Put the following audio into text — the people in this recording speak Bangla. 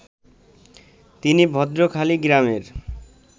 তিনি ভদ্রখালী গ্রামের